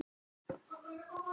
Segir Júlía stolt.